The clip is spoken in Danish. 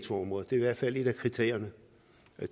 skal